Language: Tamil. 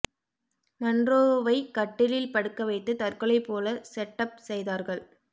மன்றோவை கட்டிலில் படுக்க வைத்து தற்கொலை போல செட்டப் செய்தார்கள்